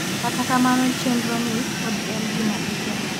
kata kamano chenro ni pod en gima itemo